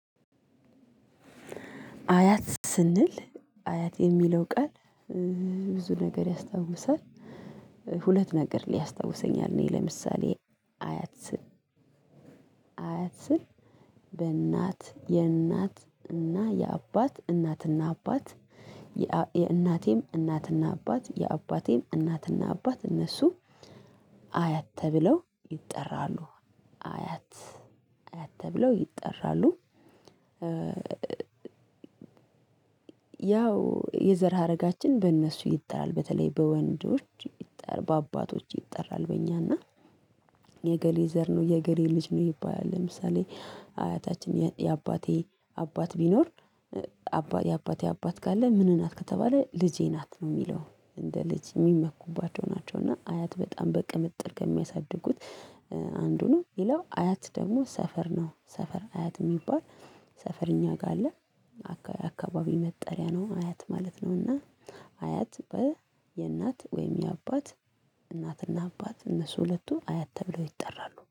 አያት ስንል አያት የሚለው ቃል ብዙ ነገር ያስታውሳል። ሁለት ነገር ሊያስታውሰኛል። ለምሳሌ አያት ስል አያት ስል በእናት የእናት እና የአባት እናት እና አባት እናቴም እናት እና አባት የአባቴም እናትና አባት እነሱ አያት ተብለው ይጠራሉ አያት አያት ተብለው ይጠራሉ። ያው የዘር ሀረጋችን በእነሱ ይጠራል በተለይ በወንዶች በአባቶች ይጠራል። በእኛ እና የእገሌ ዘር ነው የእገሌ ልጅ ነው ይባላል። ለምሳሌ አያታችን የአባቴ አባት ቢኖር። የአባቴ አባት ካል ምን ናት ከተባለ ልጄ ናት ነው የሚለው እንደ ልጅ የሚመኩባቸው ናቸው። እና አያት በጣም በቅምልል ከሚያሳድጉት አንዱ ነው። ሌላው አያት ደግሞ ሰፈር ነው ሰፈር አያት የሚባል ሰፈር እኛ ጋር አለ። አካባቢ መጠሪያ ነው አያት ማለት ነው። እና አያት የእናት ወይም የአባት እናት እና አባት እነሱ ሁለቱ አያት ተብለው ይጠራሉ